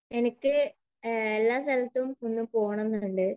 എനിക്ക് എല്ലാ സ്ഥലത്തും ഒന്ന് പോകണം എന്നുണ്ട്.